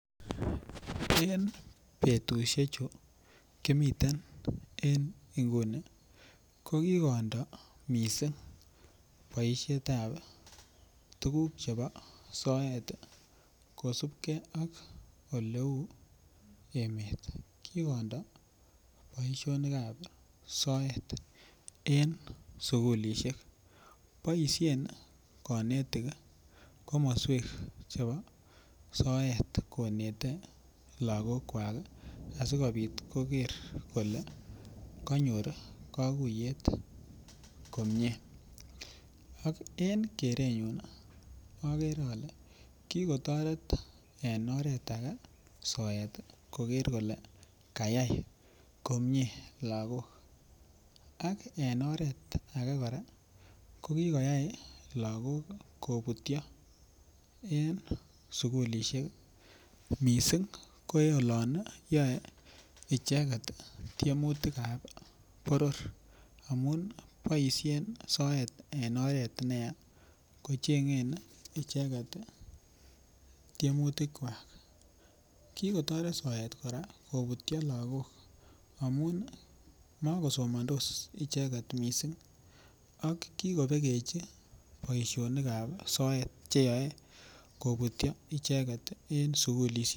En betusiechu kimiten inguni ko kikondo missing boisietab tuguk chebo soet ii kosipke ak oleu emet kikondo boisionikab soet en sigulisiek boisien konetik komoswek chebo soet konete lakokwak asikopit koker kole kanyor kakuiyet komie ak en kerunyun akere ale kikotoret en oret age soet koker kole kayai komie lakok, ak en oret age kora ko kikoyai lakok kobutyo en sugulisiek missing ko olon yoe icheket tiemutikab boror, amun boisien soet en oret neya kochengen icheket tiemutikwak, kikotoret soet kora kobutyo lakok amun makosomondos icheket missing ak kikobekechi boisionikab soet cheyoe kobutyo icheket en sigulisiek.